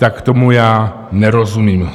Tak tomu já nerozumím.